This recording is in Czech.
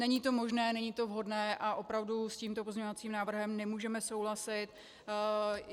Není to možné, není to vhodné a opravdu s tímto pozměňovacím návrhem nemůžeme souhlasit.